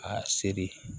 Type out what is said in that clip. A seri